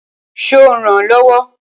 Ṣo rànán lọ́wọ́?